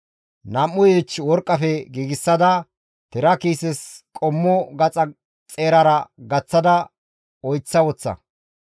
Nam7u yiich worqqafe giigsada tira kiises qommo gaxa xeerara gaththada oyththa woththa.